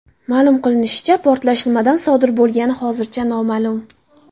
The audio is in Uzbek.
Ma’lum qilinishicha, portlash nimadan sodir bo‘lgani hozircha noma’lum.